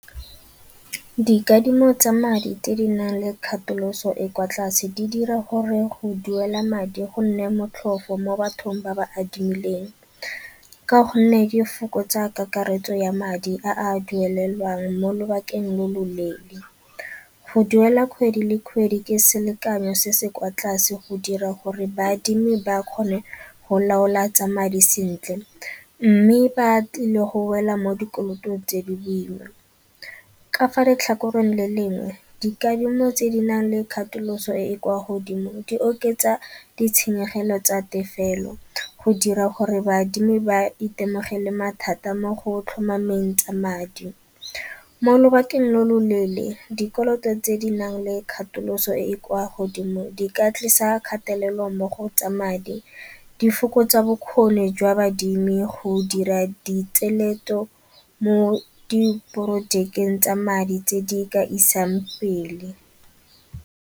Dikadimo tsa madi tse di nang le dikgatholoso e kwa tlase di dira gore go duela madi go nne motlhofo mo bathong ba ba adimileng, ka gonne di fokotsa kakaretso ya madi a dumelelwang mo lobakeng lo loleele. Go duela kgwedi le kgwedi ke selekanyo se se kwa tlase go dira gore baadimi ba kgone go laola tsa madi sentle mme ba tlile go wela mo dikolotong tse di boima. Ka fa letlhakoreng le lengwe dikadimo tse di nang le katoloso e e kwa godimo di oketsa ditshenyegelo tsa tefelo go dira gore baadimi ba itemogele mathata mo go tlhomameng tsa madi. Mo lobakeng lo loleele dikoloto tse di nang le katoloso e e kwa godimo di ka tlisa kgatelelo mo go tsa madi, di fokotsa bokgoni jwa baadimi go dira di mo di projekeng tsa madi tse di ka isang pele.